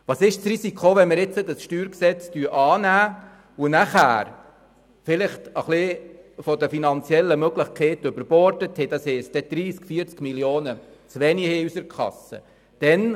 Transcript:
Worin besteht das Risiko, wenn wir dieses StG annehmen und damit mit unseren finanziellen Möglichkeiten etwas überborden, sodass wir vielleicht 30 oder 40 Mio. Franken zu wenig in unserer Kasse haben?